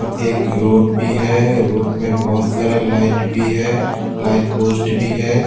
एक रोड भी है रोड में बहुत सारा लाइट भी है लाइट पोस्ट भी है।